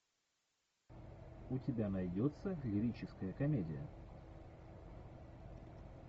у тебя найдется лирическая комедия